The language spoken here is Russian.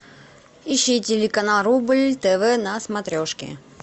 ищи телеканал рубль тв на смотрешке